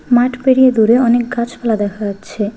মাঠ পেরিয়ে দূরে অনেক গাছপালা দেখা যাচ্ছে।